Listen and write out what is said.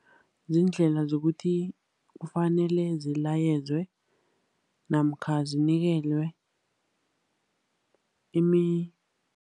Ziindlela zokuthi kufanele zilayezwe, namkha zinikelwe